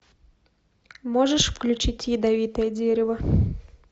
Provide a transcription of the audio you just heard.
можешь включить ядовитое дерево